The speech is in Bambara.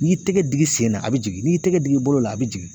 N'i y'i tɛgɛ digi sen na a bi jigin, n'i y'i tɛgɛ digi bolo la a bi jigin.